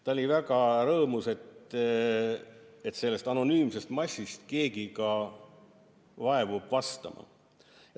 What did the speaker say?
Ta oli väga rõõmus, et sellest anonüümsest massist keegi vaevub vastama.